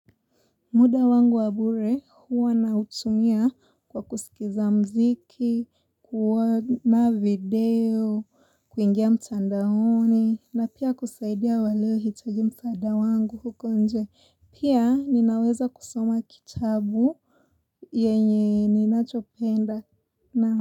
Muda wangu wabure huwa na utumia kwa kusikiza mziki, kuona video, kuingia mtandaoni, na pia kusaidia waleo hitagi mtanda wangu huko nje. Pia ninaweza kusoma kitabu yenye ninachopenda na.